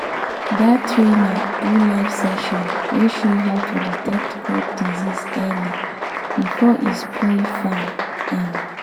that trainer do live session wey show how to detect crop disease early before e spoil farm um